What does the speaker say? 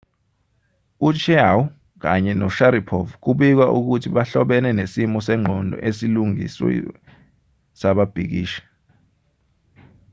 u-chiao kanye no-sharipov kubikwa ukuthi abahlobene nesimo sengqondo esilungisiwe sababhikishi